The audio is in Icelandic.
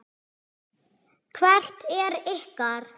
Hvert er ykkar?